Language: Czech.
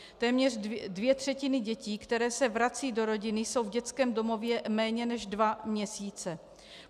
Téměř dvě třetiny dětí, které se vracejí do rodiny, jsou v dětském domově méně než dva měsíce.